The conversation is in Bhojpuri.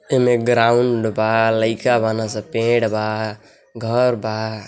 एमए ग्राउंड बा। लइका बाड़े सन। पेड़ बा। घर बा।